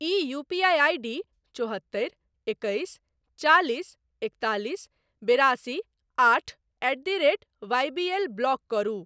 ई UPI ID चौहत्तरि एकैस चालिस एकतालिस बेरासी आठ at the rate YBL block करू।